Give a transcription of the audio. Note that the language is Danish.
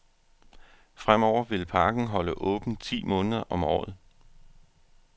Fremover vil parken holde åbent ti måneder om året.